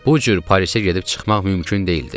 Bu cür Parisə gedib çıxmaq mümkün deyildi.